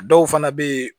A dɔw fana bɛ yen